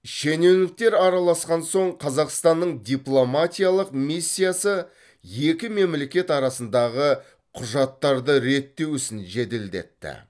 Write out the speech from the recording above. шенеуніктер араласқан соң қазақстанның дипломатиялық миссиясы екі мемлекет арасындағы құжаттарды реттеу ісін жеделдетті